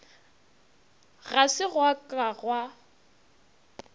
ga se gwa ka gwa